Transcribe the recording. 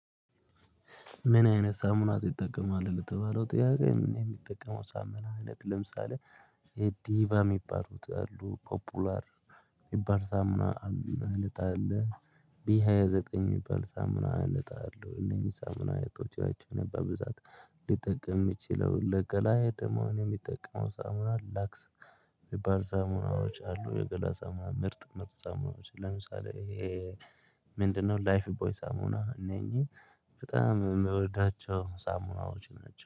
ምን አይነት ሳሙና ትጠቀማለህ? ለተባለው ጥያቄ የምጠቀመው ሳሙና አይነት ለምሳሌ የዲቫ የሚባሉት አሉ ፖፑላር የሚባል ሳምና አይነት አለ ቢ ሃያ ዘጠኝ የሚባል ሳሙና አይነት አለ። እነኚህ ሳሙና አያነቶች ናቸው። እኔ በብዛት ሊጠቅም ይምችለው ለገላዬ ደግሞ የሚጠቀመው ሳሙና ላክስ የሚባል ሳሙናዎች አሉ። የገላ ሳሙና ምርጥ ምርጥ ሰሙናዎች ለምሳሌ ምንድነው ላይፍ ቦይ ሳሙና እነኚህ በጣም የምወዳቸው ሳሙናዎች ናቸው